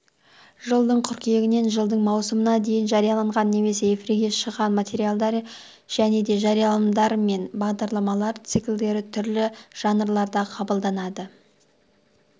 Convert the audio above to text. жылдың қыркүйегінен жылдың маусымына дейін жарияланған немесе эфирге шыққан материалдар және де жарияланымдар мен бағдарламалар циклдері түрлі жанрларда қабылданады